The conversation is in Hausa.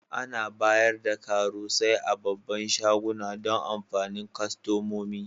Ana bayar da karusai a babban shaguna Dan amfanin kostomomi.